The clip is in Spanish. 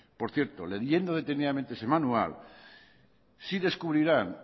por cierto leyendo detenidamente ese manual sí descubrirán